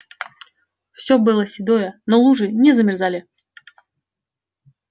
всё было седое но лужи не замерзали